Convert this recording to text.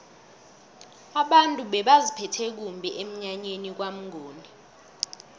abantu bebaziphethe kumbi emnyanyeni kwamnguni